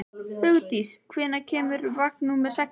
Hugdís, hvenær kemur vagn númer sextán?